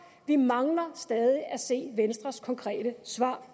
vi mangler stadig at se venstres konkrete svar